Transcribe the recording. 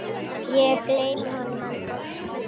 Ég gleymi honum aldrei.